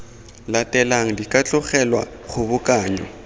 latelang di ka tlogelwa kgobokanyo